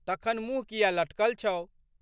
तखन मुँह कियै लटकल छौ?